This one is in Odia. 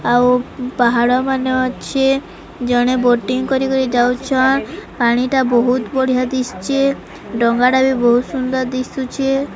ଆଉ ପାହାଡ଼ ମାନେ ଅଛେ ଜଣେ ବୋଟିଂ କରି-କରି ଯାଉଛନ ପାଣି ଟା ବହୁତ୍ ବଢ଼ିଆ ଦିଶୁଛେ ଡଙ୍ଗା ଟା ବି ବହୁତ୍ ସୁନ୍ଦର୍ ଦିଶୁଛେ।